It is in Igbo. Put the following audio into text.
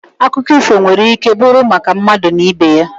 Akụkọ ifo nwere ike bụrụ maka mmadụ na ibe ya.